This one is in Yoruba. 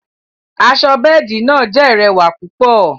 Àṣọ bẹẹdi náa jẹ̀ lẹwa púpọ̀.